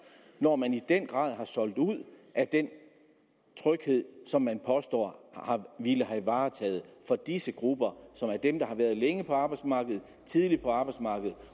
når man i den grad har solgt ud af den tryghed som man påstår at have varetaget for disse grupper som er dem der har været længe på arbejdsmarkedet tidligt på arbejdsmarkedet